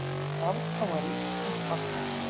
Afkoma ríkisins batnar